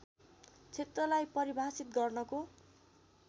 क्षेत्रलाई परिभाषित गर्नको